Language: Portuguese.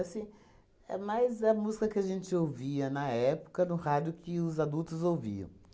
Assim, é mais a música que a gente ouvia na época no rádio que os adultos ouviam.